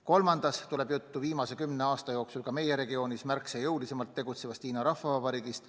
Kolmandas tuleb juttu viimase kümne aasta jooksul ka meie regioonis märksa jõulisemalt tegutsevast Hiina Rahvavabariigist.